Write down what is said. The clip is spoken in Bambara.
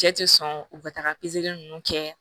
Cɛ ti sɔn u ka taga pezeli ninnu kɛ